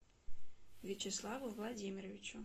вячеславу владимировичу